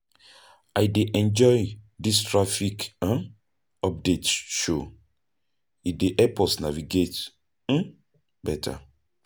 I dey enjoy dis traffic update show; e dey help us navigate beta.